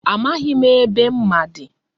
Amaghị m ebe mma dị.